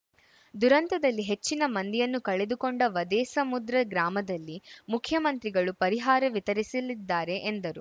ದುರಂತದಲ್ಲಿ ಹೆಚ್ಚಿನ ಮಂದಿಯನ್ನು ಕಳೆದುಕೊಂಡ ವದೇಸಮುದ್ರ ಗ್ರಾಮದಲ್ಲಿ ಮುಖ್ಯಮಂತ್ರಿಗಳು ಪರಿಹಾರ ವಿತರಿಸಲಿದ್ದಾರೆ ಎಂದರು